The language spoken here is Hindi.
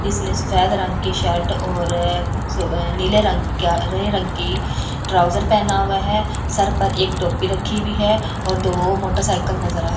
जिसने सफेद रंग की शर्ट और नीले रंग का नीले रंग की ट्राउजर पहना हुआ है सर पर एक टोपी रखी हुई है और दो मोटरसाइकिल नजर आ रही --